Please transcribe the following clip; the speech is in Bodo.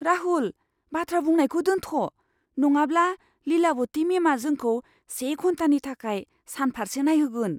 राहुल! बाथ्रा बुंनायखौ दोन्थ', नङाब्ला लीलावती मेमआ जोंखौ से घन्टानि थाखाय सानफार्से नायहोगोन।